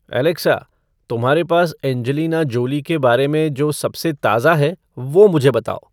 Alexa तुम्हारे पास Angelina Jolie के बारे में जो सबसे ताज़ा है वो मुझे बताओ